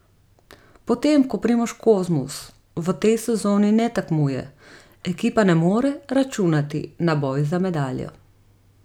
Potem, ko Primož Kozmus v tej sezoni ne tekmuje, ekipa ne more računati na boj za medaljo.